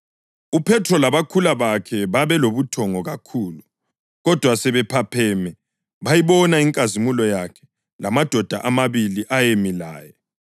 UPhethro labakhula bakhe babe lobuthongo kakhulu, kodwa sebephapheme, bayibona inkazimulo yakhe lamadoda amabili ayemi laye.